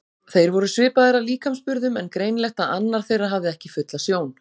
Þeir voru svipaðir að líkamsburðum en greinilegt að annar þeirra hafði ekki fulla sjón.